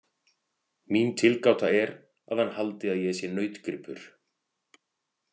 Mín tilgáta er að hann haldi að ég sé nautgripur.